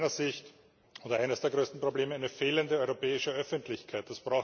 Aus meiner Sicht ist eines der größten Probleme eine fehlende europäische Öffentlichkeit.